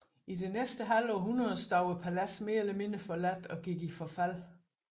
I det næste halve århundrede stod paladset mere eller mindre forladt og gik i forfald